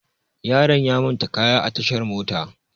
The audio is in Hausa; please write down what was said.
Yaron ya manta kayan a tashar mota.